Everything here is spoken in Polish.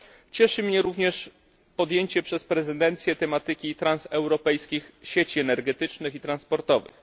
Cieszy mnie również podjęcie przez prezydencję tematyki transeuropejskich sieci energetycznych i transportowych.